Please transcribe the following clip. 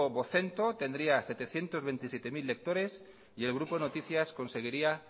vocento tendría setecientos veintisiete mil lectores y el grupo noticias conseguiría